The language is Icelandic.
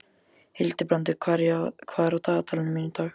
Hildibrandur, hvað er á dagatalinu mínu í dag?